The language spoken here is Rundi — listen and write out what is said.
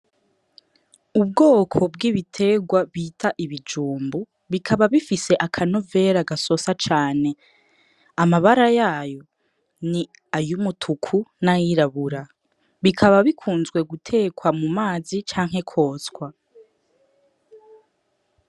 Ubwoko bw'ibitegwa bita ibijumbu bikaba bifise akanovera gasosa cane amabara yayo ni ayo umutuku n'ayirabura bikaba bikunzwe guterwa mu mazi canke kwotswa.